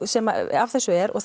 sem af þessu er og